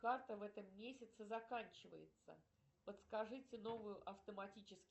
карта в этом месяце заканчивается подскажите новую автоматически